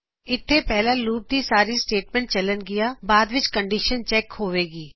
ਇਥੇ ਪਹਿਲਾ ਲੂਪ ਦੀ ਸਾਰੀ ਸਟੇਟਮੈਂਟਸ ਚੱਲਨ ਗਿਆਂ ਅਤੇ ਬਾਦ ਵਿੱਚ ਕੰਡੀਸ਼ਨ ਚੈੱਕ ਹੋਵੇਗੀ